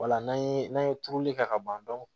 Wala n'an ye n'an ye turuli kɛ ka ban